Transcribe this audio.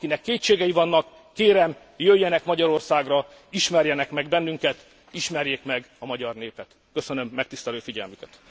Akinek kétségei vannak, kérem, jöjjenek Magyarországra, ismerjenek meg bennünket, ismerjék meg a magyar népet. Köszönöm megtisztelő figyelmüket.